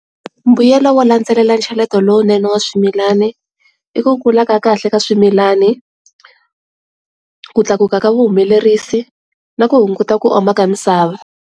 Mbuyelo wo landzelela ncheleto lowunene wa swimilana i ku kula ka kahle ka swimilani, ku tlakuka ka vuhumelerisi na ku hunguta ku oma ka misava.